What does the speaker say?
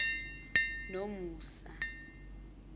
nomusa